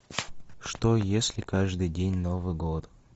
что если каждый день новый год